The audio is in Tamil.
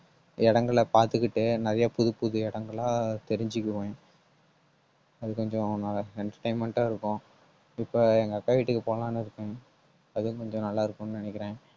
இடங்களை பார்த்துக்கிட்டு நிறைய புதுப்புது இடங்கள தெரிஞ்சுக்குவேம். அது கொஞ்சம் நல்ல entertainment ஆ இருக்கும். இப்ப எங்க அக்கா வீட்டுக்கு போலாம்னு இருக்கேன் அதுவும் கொஞ்சம் நல்லா இருக்கும்னு நினைக்கிறேன்